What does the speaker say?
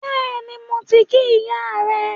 Bẹ́ẹ̀ni, mo ti kí ìyá rẹ